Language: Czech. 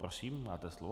Prosím, máte slovo.